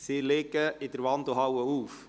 Sie liegen in der Wandelhalle auf.